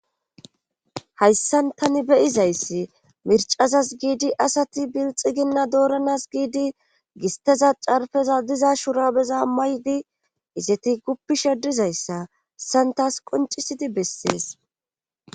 hayssan tani beyizayssi mircazas giidi asati bilxiginna dooranas giidi gisteza carfeza diza shurabeza maydi izeti guppishe dizayssa hayisan tas qoncisidi bessees